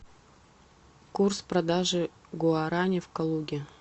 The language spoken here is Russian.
курс продажи гуарани в калуге